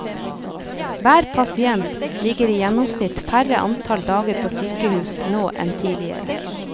Hver pasient ligger i gjennomsnitt færre antall dager på sykehus nå enn tidligere.